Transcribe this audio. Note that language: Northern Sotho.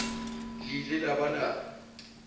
le ile la ba la